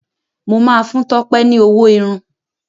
mọ má fún Tope ní ọwọ Irun.